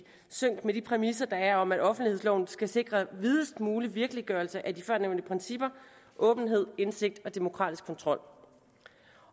sync med de præmisser der er om at offentlighedsloven skal sikre videst mulig virkeliggørelse af de førnævnte principper åbenhed indsigt og demokratisk kontrol